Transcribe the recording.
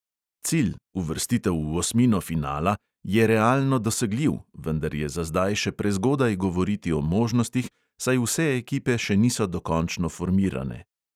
Cilj, uvrstitev v osmino finala, je realno dosegljiv, vendar je za zdaj še prezgodaj govoriti o možnostih, saj vse ekipe še niso dokončno formirane.